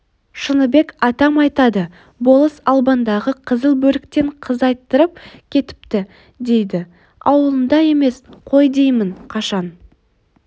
шыныбек атам айтады болыс албандағы қызыл бөріктен қыз айттырып кетіпті дейді ауылында емес қой деймін қашан